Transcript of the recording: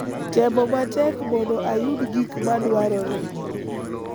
Temo matek mondo ayud gik ma dwarore